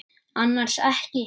Annars ekki.